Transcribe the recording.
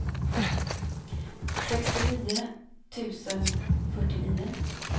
sextionio tusen fyrtionio